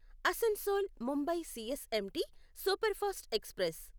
Asansol Mumbai CSMT superfast express